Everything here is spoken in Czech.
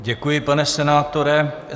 Děkuji, pane senátore.